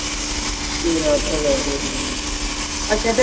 ਤੇਰਾ ਭਲਾ ਹੋਵੇ, ਅੱਛਾ ਤੇ।